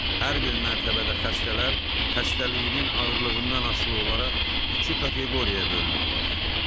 Hər bir mərtəbədə xəstələr xəstəliyinin ağırlığından asılı olaraq iki kateqoriyaya bölünüblər.